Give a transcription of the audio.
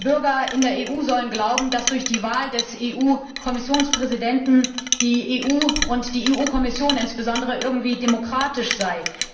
Die Bürger in der EU sollen glauben, dass durch die Wahl des EU Kommissionspräsidenten die EU und die EU Kommission insbesondere irgendwie demokratisch sei.